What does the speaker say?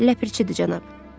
Ləpirçidir, cənab.